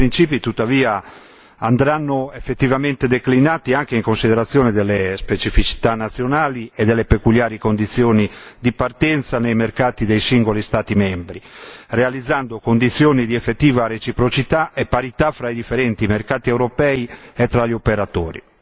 Tuttavia, tali principi andranno effettivamente declinati anche in considerazione delle specificità nazionali e delle peculiari condizioni di partenza nei mercati dei singoli Stati membri, realizzando condizioni di effettiva reciprocità e parità fra i differenti mercati europei e tra gli operatori.